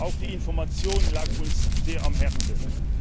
Auch die Information lag uns sehr am Herzen.